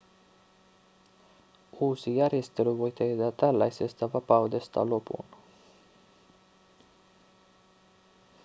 uusi järjestely voi tehdä tällaisesta vapaudesta lopun